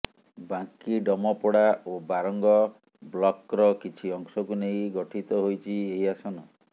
ବାଙ୍କୀ ଡ଼ମପଡା ଓ ବାରଙ୍ଗ ବ୍ଲକ୍ର କିଛି ଅଂଶକୁ ନେଇ ଗଠିତ ହୋଇଛି ଏହି ଆସନ